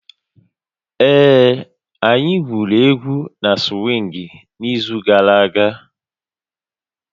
Ee, anyị gwuru égwu na swịngị n'izu gara aga